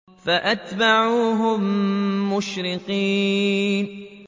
فَأَتْبَعُوهُم مُّشْرِقِينَ